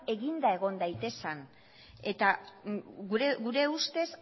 eginda egon daitezen gure ustez